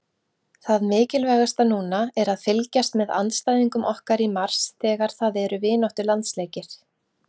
Það mikilvægasta núna er að fylgjast með andstæðingum okkar í mars þegar það eru vináttulandsleikir